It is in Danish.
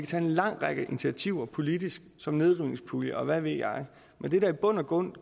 tage en lang række initiativer politisk som nedrivningspulje og hvad ved jeg men det der i bund og grund